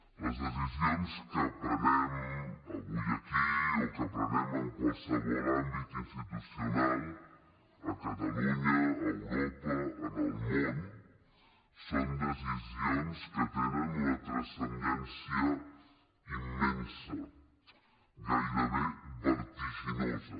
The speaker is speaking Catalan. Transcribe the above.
les decisions que prenem avui aquí o que prenem en qualsevol àmbit institucional a catalunya a europa en el món són decisions que tenen una transcendència immensa gairebé vertiginosa